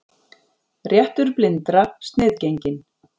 Réttur blindra sniðgenginn